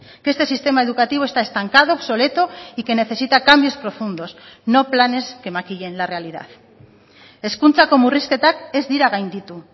que este sistema educativo está estancado obsoleto y que necesita cambios profundos no planes que maquillen la realidad hezkuntzako murrizketak ez dira gainditu